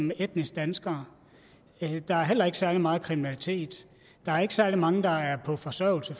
med etniske danskeres der er heller ikke særlig meget kriminalitet der er ikke særlig mange der er på forsørgelse